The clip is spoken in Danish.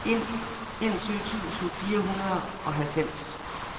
enogtyve tusind fire hundrede og halvfems